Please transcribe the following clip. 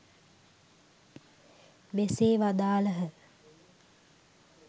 මෙසේ වදාළහ.